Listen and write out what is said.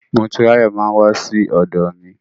Motúnráyọ̀ máa wá sí ọ̀dọ̀ mi.